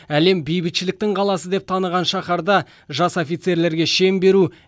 әлем бейбітшіліктің қаласы деп таныған шаһарда жас офицерлерге шен беру